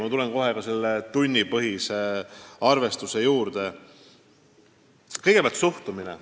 Ma tulen kohe ka töötasu tunnipõhise arvestuse juurde, aga kõigepealt räägin suhtumisest.